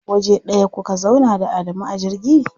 Waje ɗaya kuka zauna da Adamu a jirgi?